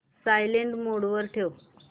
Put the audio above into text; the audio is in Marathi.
सायलेंट मोड वर ठेव